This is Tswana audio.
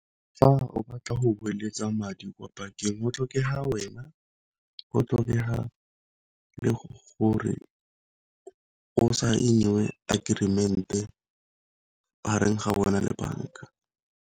Fa o batla go beeletsa madi kwa bankeng go tlhokega wena, go tlhokega le gore go sign-iwe agreement-e mareng ga wena le banka.